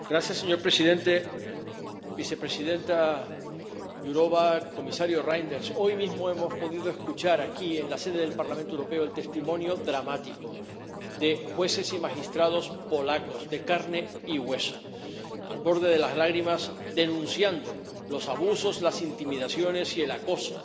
Señor presidente, vicepresidenta Jourová, comisario Reynders, hoy mismo hemos podido escuchar aquí, en la sede del Parlamento Europeo, el testimonio dramático de jueces y magistrados polacos de carne y hueso, al borde de las lágrimas, denunciando los abusos, las intimidaciones y el acoso